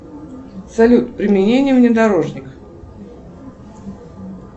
салют применение внедорожника